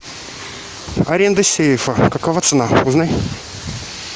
аренда сейфа какова цена узнай